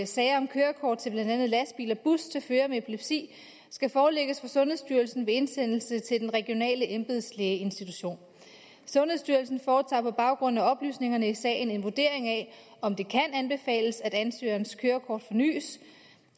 sager om kørekort til blandt andet lastbil og bus til førere med epilepsi skal forelægges for sundhedsstyrelsen ved indsendelse til den regionale embedslægeinstitution sundhedsstyrelsen foretager på baggrund af oplysningerne i sagen en vurdering af om det kan anbefales at ansøgerens kørekort fornyes